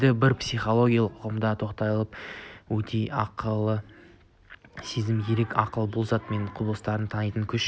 енді кейбір психологиялық ұғымдарға тоқталып өтейін ақыл сезім ерік ақыл бұл заттар мен құбылыстарды танитын күш